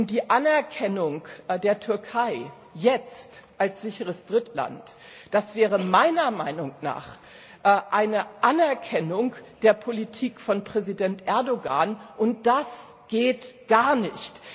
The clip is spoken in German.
Die Anerkennung der Türkei jetzt als sicheres Drittland, das wäre meiner Meinung nach eine Anerkennung der Politik von Präsident Erdogan und das geht gar nicht!